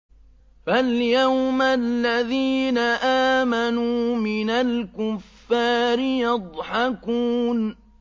فَالْيَوْمَ الَّذِينَ آمَنُوا مِنَ الْكُفَّارِ يَضْحَكُونَ